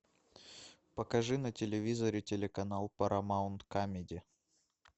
покажи на телевизоре телеканал парамаунт камеди